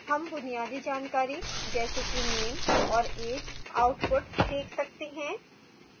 हम बुनियादी जानकारी जैसे कि name और age output देख सकते हैं